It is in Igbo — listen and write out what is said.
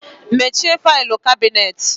Mechie faịlụ kabinet.